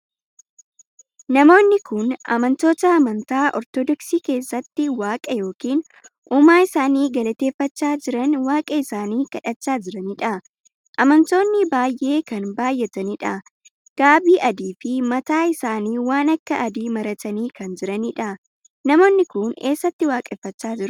Namoonni kun amantoota amantaa ortodoksii keessatti waaqa ykn uumaa isaanii galateffachaa jiranii waaqa isaanii kadhachaa jiraniidha. amantoon baay'ee kan baay'ataniidha. gaabii adii fi mataa isaanii waan akka adii maratanii kan jiraniidha. Namoonni kun eessatti waaqeffachaa jiru?